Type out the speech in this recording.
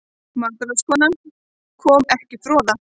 MATRÁÐSKONA: Kom ekki froða?